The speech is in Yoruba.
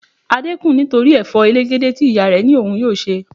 Adé kùn nítorí Ẹ̀fọ́ elegede tí ìyá rẹ ní òun yóò se.